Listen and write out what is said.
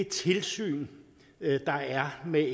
tilsyn der er med